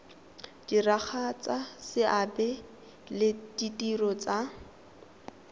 diragatsa seabe le ditiro tsa